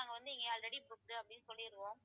நாங்க வந்து இங்க already booked அப்படின்னு சொல்லிருவோம்